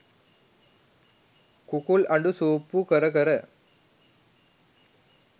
කුකුල් අඬු සූප්පු කර කර